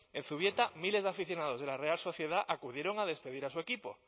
en zubieta miles de aficionados de la real sociedad acudieron a despedir a su equipo